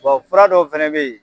Tubabu fura dɔw fɛnɛ be yen